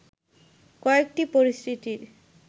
কয়েকটি পরিস্থিতির